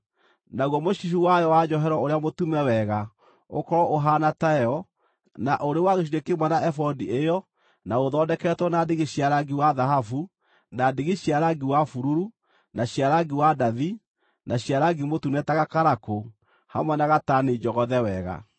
Naguo mũcibi wayo wa njohero ũrĩa mũtume wega ũkorwo ũhaana tayo na ũrĩ wa gĩcunjĩ kĩmwe na ebodi ĩyo na ũthondeketwo na ndigi cia rangi wa thahabu, na ndigi cia rangi wa bururu, na cia rangi wa ndathi, na cia rangi mũtune ta gakarakũ, hamwe na gatani njogothe wega.